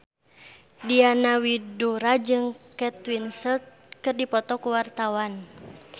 Diana Widoera jeung Kate Winslet keur dipoto ku wartawan